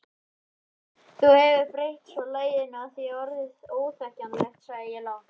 Þú hefur breytt svo laginu að það er orðið óþekkjanlegt sagði ég lágt.